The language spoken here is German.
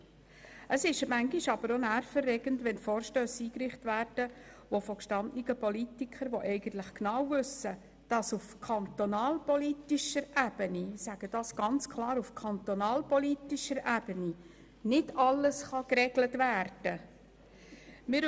Manchmal ist es auch nervenaufreibend, wenn Vorstösse vonseiten gestandener Politiker eingereicht werden, die eigentlich genau wissen, dass auf kantonalpolitischer Ebene – ich sage dies ganz klar – nicht alles geregelt werden kann.